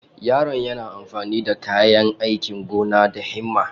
Yaron yana amfani da kayan aikin gona da himma.